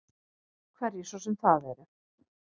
Hverjir svo sem það eru.